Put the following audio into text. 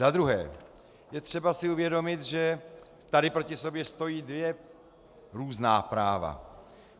Za druhé, je třeba si uvědomit, že tady proti sobě stojí dvě různá práva.